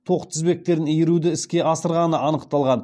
тоқ тізбектерін иіруді іске асырғаны анықталған